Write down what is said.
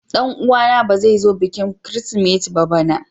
Danuwa na ba zai zo bikin kirisimeti bana ba.